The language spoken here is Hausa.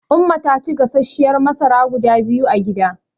Umma ta ci gasasshiyar masara guda biyu a gida.